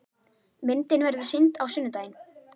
Myndin verður sýnd á sunnudaginn.